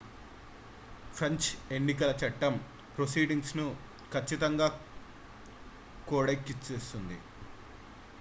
French ఎన్నికల చట్టం proceedings ను కచ్చితంగా కోడైక్చేస్తుంది